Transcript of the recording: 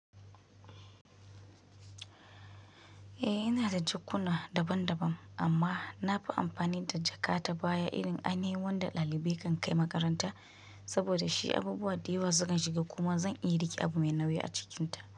Eh ina da jakkuna daban daban amma nafi amfani da jakata baya irin anii wanda ɗalibai kan kai makaranta saboda shi abubuwa da yawa sukan shiga kuma zan iya rike abu mai nauyi a cikinta.